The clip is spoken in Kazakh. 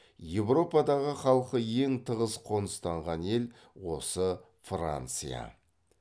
еуропадағы халқы ең тығыз қоныстанған ел осы франция